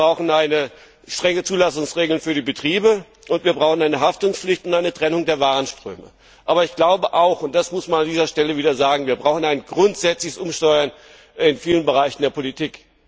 Wir brauchen strenge Zulassungsregeln für die Betriebe, und wir brauchen eine Haftungspflicht und eine Trennung der Warenströme. Aber ich glaube, wir brauchen auch und das muss man an dieser Stelle wieder sagen ein grundsätzliches Umsteuern in vielen Bereichen der Politik.